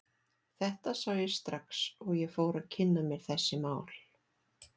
Þetta sá ég strax og ég fór að kynna mér þessi mál.